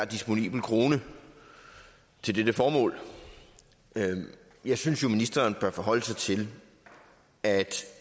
disponibel krone til dette formål jeg synes jo at ministeren bør forholde sig til at